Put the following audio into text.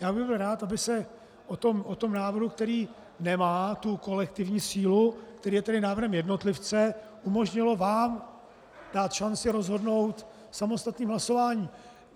Já bych byl rád, aby se o tom návrhu, který nemá tu kolektivní sílu, který je tedy návrhem jednotlivce, umožnilo vám dát šanci rozhodnout samostatným hlasováním.